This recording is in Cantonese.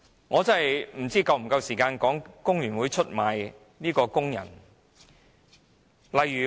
我不知道是否有足夠時間討論工聯會出賣工人的事件。